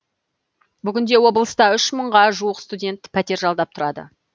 бүгінде облыста үш мыңға жуық студент пәтер жалдап тұрады